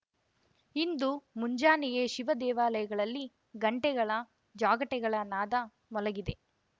ಇಂದು ಮುಂಜಾನೆಯೇ ಶಿವ ದೇವಾಲಯಗಳಲ್ಲಿ ಗಂಟೆಗಳ ಜಾಗಟೆಗಳ ನಾದ ಮೊಳಗಿದೆ